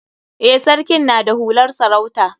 Eh, sarkin na da hular sarauta.